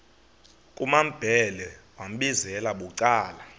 kumambhele wambizela bucala